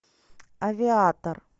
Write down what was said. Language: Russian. авиатор